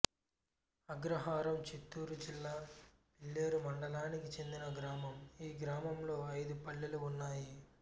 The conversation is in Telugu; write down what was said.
అగ్రహారం చిత్తూరు జిల్లా పీలేరు మండలానికి చెందిన గ్రామం ఈ గ్రామంలో ఐదు పల్లెలు ఉన్నాయి